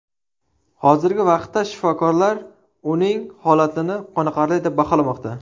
Hozirgi vaqtda shifokorlar uning holatini qoniqarli deb baholamoqda.